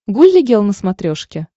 гулли гел на смотрешке